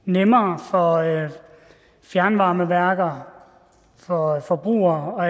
nemmere for fjernvarmeværker for forbrugere og